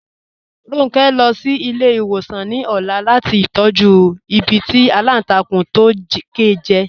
Ronke n lọ sí ilẹ̀-iṣẹ̀wosan ní ọ̀là lati tọ̀jú ìbí tí alántàkùn to ke jẹ.